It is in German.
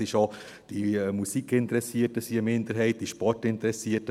Auch sind die Musikinteressierten eine Minderheit, die Sportinteressierten …